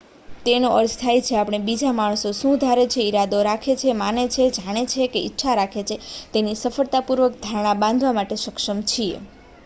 તેનો અર્થ થાય છે આપણે બીજા માણસો શું ધારે છે ઈરાદો રાખે છે માને છે જાણે છે કે ઈચ્છા રાખે છે તેની સફળતાપૂર્વક ધારણા બાંધવા માટે સક્ષમ છીએ